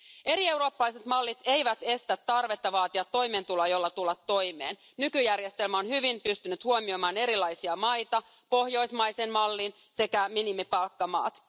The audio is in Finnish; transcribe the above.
Eri eurooppalaiset mallit eivät estä tarvetta vaatia toimeentuloa, jolla tulla toimeen. Nykyjärjestelmä on hyvin pystynyt huomioimaan erilaisia maita, pohjoismaisen mallin sekä minimipalkkamaat.